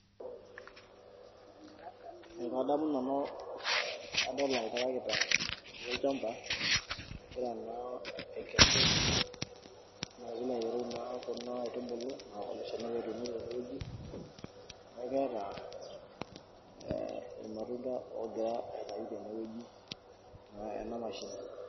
Ekadamu nanu tenadol oltarikita etii olchamba, egira naa aikesu pilo aitereu naa kuna aitubulu ele shani apa natuunoki tene wueji. Neaku keeta eh irmatunda ogira aitayu tene wueji naa ena mashini .